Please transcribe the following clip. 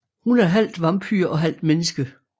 Hun er halvt vampyr og halvt menneske